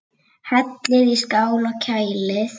Hellið í skál og kælið.